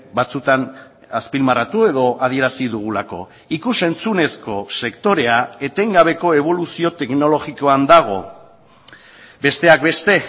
batzutan azpimarratu edo adierazi dugulako ikus entzunezko sektorea etengabeko eboluzio teknologikoan dago besteak beste